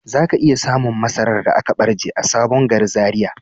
Zaka iya samun masarar da aka barje a sabon gari Zaria.